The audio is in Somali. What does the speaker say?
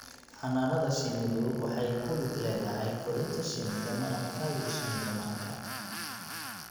Xannaanada shinnidu waxay ku lug leedahay korinta shinnida malabka iyo shinnida manka.